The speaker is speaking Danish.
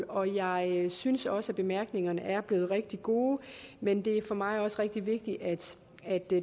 og jeg synes også at bemærkningerne er blevet rigtig gode men det er for mig også rigtig vigtigt at